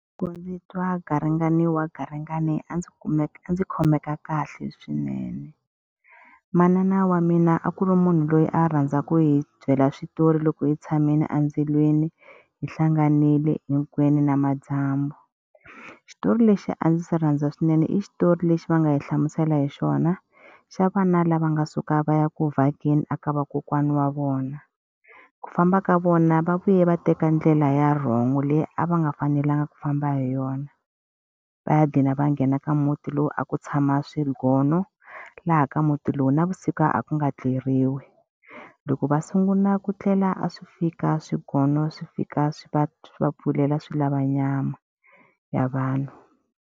Loko ndzi twa garingani wa garingani a ndzi ndzi khomeka kahle swinene. Manana wa mina a ku ri munhu loyi a rhandza ku hi byela switori loko hi tshamile endzilweni, hi hlanganile hinkwenu namadyambu. Xitori lexi a ndzi xi rhandza swinene i xitori lexi va nga yi hlamusela hi xona, xa vana lava nga suka va ya ku vhakeni eka vakokwana wa vona. Ku famba ka vona va vuye va teka ndlela ya wrong leyi a va nga fanelanga ku famba hi yona, va gcina va nghena ka muti lowu a ku tshama swingono, laha ka muti lowu navusiku a ku nga tluleriwi. Loko va sungula ku tlela a swi fika swigolo swi fika swi va swi va pfulela swi lava nyama ya vanhu.